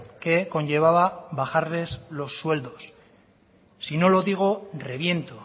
que conllevaba bajarles los sueldos si no lo digo reviento